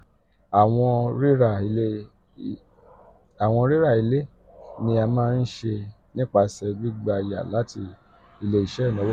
awọn rira ile ni a maa n ṣe nipasẹ gbigba yá lati ile-iṣẹ inawo kan.